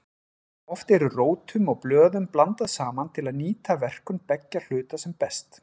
Oft eru rótum og blöðum blandað saman til að nýta verkun beggja hluta sem best.